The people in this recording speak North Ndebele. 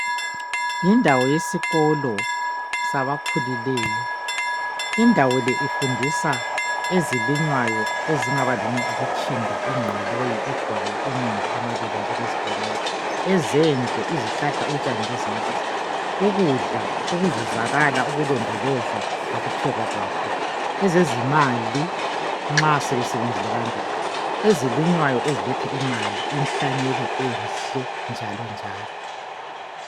Yindawo yesikolo sabakhulileyo. Indawo le ifundisa ezilinywayo ezingaba lutshinda, ingqoloyi, igwayi, umumbu amabele njengezibonelo, ezendle izihlahla, utshani lezinyamazana ukudla okuzuzakala, ukulondolozwa lokupheka kwakho ezezimali nxa sebesebenzile kangaka ezilinywayo eziletha imali, inhlanyelo enhle njalo njalo